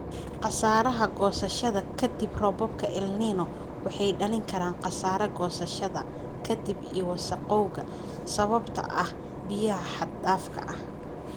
""" Khasaaraha goosashada ka dib Roobabka El Niño waxay dhalin karaan khasaare goosashada ka dib iyo wasakhowga sababtoo ah biyaha xad dhaafka ah."